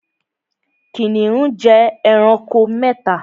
Kìnìún jẹ ẹranko mẹ́ta